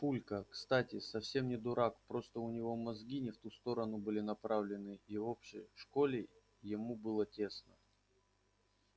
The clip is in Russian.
папулька кстати совсем не дурак просто у него мозги не в ту сторону были направлены и в общей школе ему было тесно